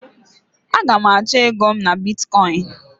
Aga m achọ ego m na Bitkọin.